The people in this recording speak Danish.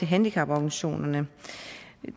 handicaporganisationerne